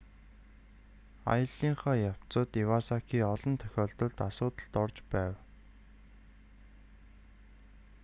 аяллынхаа явцад ивасаки олон тохиолдолд асуудалд орж байв